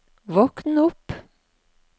våkn opp